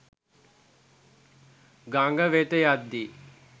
ගඟ වෙත යද්දී